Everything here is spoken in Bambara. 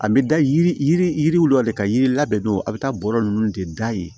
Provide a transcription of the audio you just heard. An bɛ da yiri yiri yiri yiri yiriw la de ka yiri ladon a bɛ taa bɔrɔ nunnu de da yen